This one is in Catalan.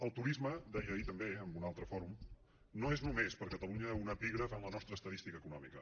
el turisme deia ahir també en un altre fòrum no és només per a catalunya un epígraf en la nostra estadística econòmica